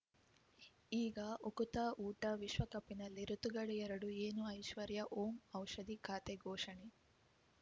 ಈಗ ಉಕುತ ಊಟ ವಿಶ್ವಕಪ್‌ನಲ್ಲಿ ಋತುಗಳು ಎರಡು ಏನು ಐಶ್ವರ್ಯಾ ಓಂ ಔಷಧಿ ಖಾತೆ ಘೋಷಣೆ